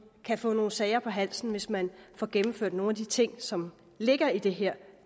kan få nogle sager på halsen hvis man får gennemført nogle af de ting som ligger i det her